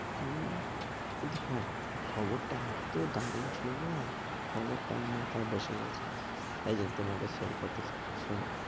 হম কিন্তু হ্যাঁ ওই খবরটা এত দারুন ছিল না, খবরটা আমার মাথায় বসে গেছে। তাই জন্য তোমাকে share করতে চাই। শোনো,